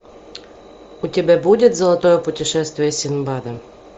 у тебя будет золотое путешествие синдбада